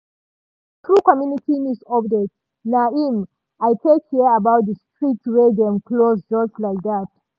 na through community news update naim i take hear about di street wey dem close just like dat.